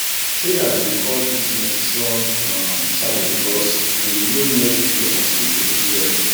traders dey call this maize strong um shadow because e dey grow near tree and still produce well